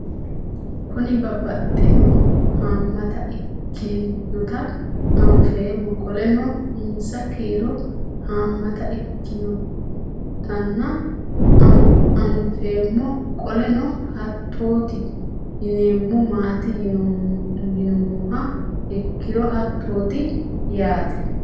Kuni babaxino haamata ikitinotna anfemo qoleno insa kiiro haamata ikitinotna anfemo qoleno hatoti yinemo maati yinumoh ikiro hatot i yaate